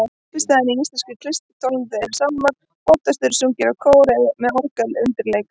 Uppistaðan í íslenskri kirkjutónlist eru sálmar sem oftast eru sungnir af kór með orgelundirleik.